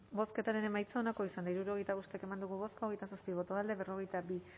bozketaren emaitza onako izan da hirurogeita bost eman dugu bozka hogeita zazpi boto alde berrogeita bi